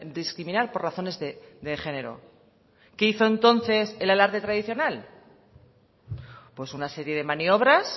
discriminar por razones de género qué hizo entonces el alarde tradicional pues una serie de maniobras